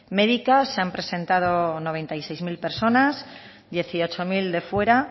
médicas se han presentado noventa y seis mil personas dieciocho mil de fuera